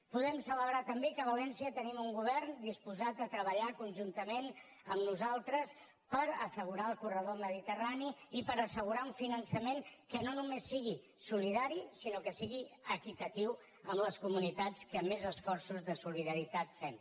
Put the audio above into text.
podem celebrar també que a valència tenim un govern disposat a treballar conjuntament amb nosaltres per assegurar el corredor mediterrani i per assegurar un finançament que no només sigui solidari sinó que sigui equitatiu amb les comunitats que més esforços de solidaritat fem